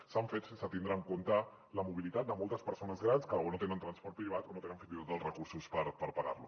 s’han fet sense tindre en compte la mobilitat de moltes persones grans que o no tenen transport privat o no tenen fins i tot els recursos per pagar lo